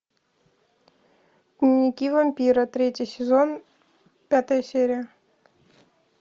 дневники вампира третий сезон пятая серия